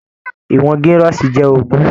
Ìwọn girọsi jẹ ogún.